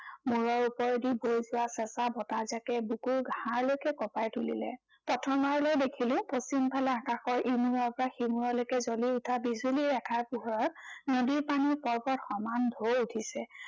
মূৰৰ ওপৰেদি বৈ যোৱা চেঁচা বতাহজাকে বুকুৰ হাড়লৈকে কঁপাই তুলিলে। প্ৰথমবাৰলৈ দেখিলো পশ্চিম ফালে আকাশৰ ইমূৰৰ পৰা সিমূৰলৈকে জ্বলি উঠা বিজুলী ৰেখাৰ পোহৰত নদীৰ পানীত পৰ্বত সমান ঢৌ উঠিছে।